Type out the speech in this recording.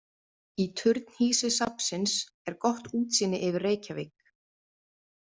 Í turnhýsi safnsins er gott útsýni yfir Reykjavík.